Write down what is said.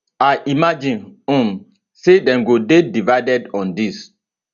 i imagine um say dem go dey divided on dis